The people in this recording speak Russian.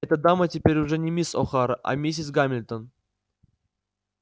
эта дама теперь уже не мисс охара а миссис гамильтон